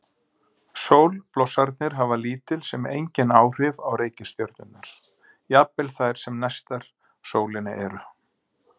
Sólblossarnir hafa lítil sem engin áhrif á reikistjörnurnar, jafnvel þær sem næstar sólinni eru.